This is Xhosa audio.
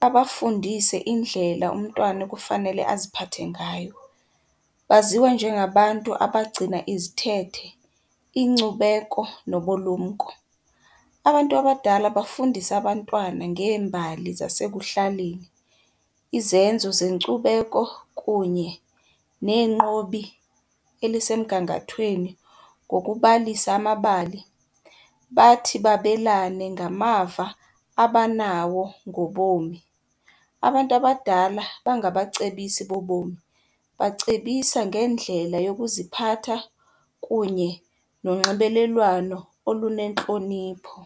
babafundise indlela umntwana ekufanele aziphathe ngayo. Baziwa njengabantu abagcina izithethe, iinkcubeko nobulumko. Abantu abadala bafundisa abantwana ngeembali zasekuhlaleni, izenzo zenkcubeko kunye neenqobi elisemgangathweni ngokubalisa amabali. Bathi babelane ngamava abanawo ngobomi. Abantu kudala bangacebisi bobomi. Bacebisa ngeendlela yokuziphatha kunye nonxibelelwano olunentlonipho.